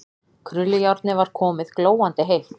Krullujárnið var komið, glóandi heitt.